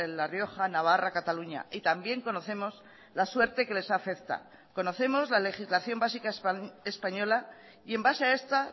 la rioja navarra cataluña y también conocemos la suerte que les afecta conocemos la legislación básica española y en base a esta